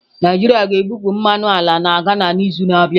Naijiria ga-ebupụ mmanụ ala na Ghana n'izu na-abịa.